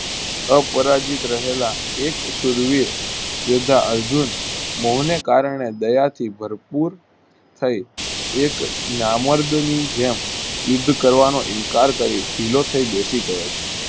અપરાજિત રહેલા એક સુરવીર યોદ્ધા અર્જુન મોહને કારણે દયાથી ભર પૂર થી એક નામર્દ નીજેમ યુદ્ધ કરવાનો ઇન્કાર કરી ઢીલો થઈ બેસીગયો છે.